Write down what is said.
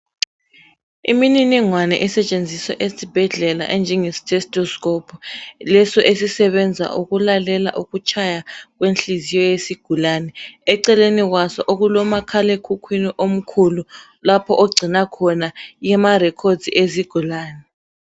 Imininingwana esetshenziswa esibhedlela, enjengetestescope, leso esisebenza ukulalela ukutshaya kwenhliziyo yesigulane. Eceleni kwaso okulomakhalekhukhwini omkhulu. Lapho okugcinwa khona amarecords ezigulane.